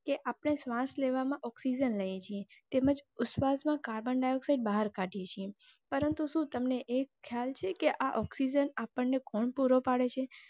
કે આપણે શ્વાસ લેવામાં Oxygen લઈએ છે. તેમજ ઉચ્છવાસ માં carbon dioxide બહાર કાઢીયે છે પરંતુ શું તમને એ ખ્યાલ છે કે આ oxygen આપણ ને કોણ પૂરો પાડે છે